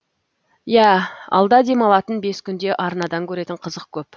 иә алда демалатын бес күнде арнадан көретін қызық көп